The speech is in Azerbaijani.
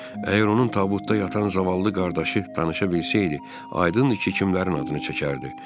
Əgər onun tabutda yatan zavallı qardaşı danışa bilsəydi, aydın idi ki, kimlərin adını çəkərdi.